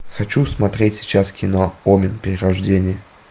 хочу смотреть сейчас кино омен перерождение